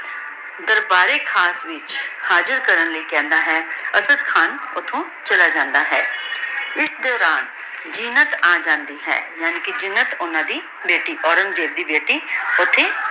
ਦਰਬਾਰ ਏ ਖਾਸ ਵਿਚ ਹਾਜ਼ਿਰ ਕਰਨ ਲੈ ਕਹੰਦਾ ਹੈ ਅਸਾਡ ਖਾਨ ਓਥੋਂ ਚਲਾ ਜਾਂਦਾ ਹੈ ਏਸ ਦੋਰਾਨ ਜੀਨਤ ਅਜੰਦੀ ਹੈ ਯਾਨੀ ਜੀਨਤ ਪੋਹ੍ਨਾਂ ਦੀ ਬੇਟੀ ਔਰੇਨ੍ਗ੍ਜ਼ੇਬ ਦੀ ਬੇਟੀ ਓਥੇ